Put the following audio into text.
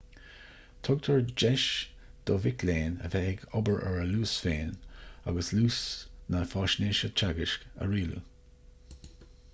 tugtar deis do mhic léinn a bheith ag obair ar a luas féin agus luas na faisnéise teagaisc a rialú